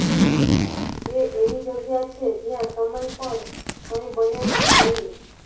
તે એવી જગ્યા છે જ્યાં સમય પર કંઇ બને નહીં